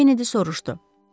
Kennedi soruşdu.